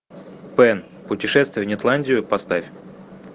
пэн путешествие в нетландию поставь